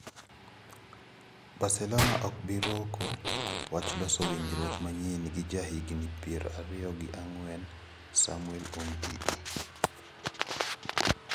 (Mirror) Barcelona ok bi roko wach loso winjruok manyien gi jahigini pier ariyo gi ang`wen , Samuel Umtiti.